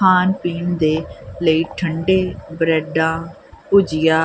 ਖਾਣ ਪੀਣ ਦੇ ਲਈ ਠੰਡੇ ਬਰੈਡਾਂ ਭੁਜੀਆ।